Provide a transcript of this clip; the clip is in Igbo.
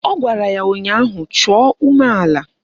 Ọ gwara ya ụnyaahụ "Chọọ umeala"!